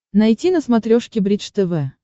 найти на смотрешке бридж тв